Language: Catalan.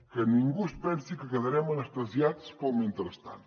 que ningú es pensi que quedarem anestesiats pel mentrestant